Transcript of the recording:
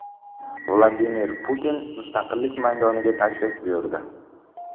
Vladimir Putin Mustaqillik maydoniga tashrif buyurdi.